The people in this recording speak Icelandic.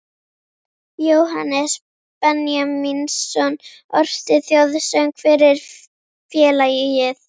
Jóhannes Benjamínsson orti þjóðsöng fyrir félagið